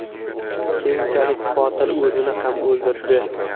Keyinchalik qotil o‘zini ham o‘ldirdi.